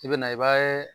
I bɛ na i b'a ye